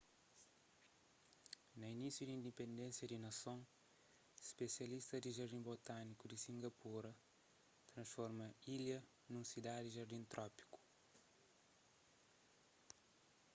na inísiu di indipendénsia di nason spisialistas di jardin botâniku di singapura transforma ilha nun sidadi jardin trópiku